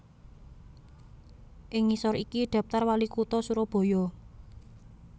Ing ngisor iki daptar WaliKutha Surabaya